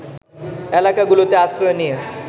এলাকাগুলোতে আশ্রয় নিয়ে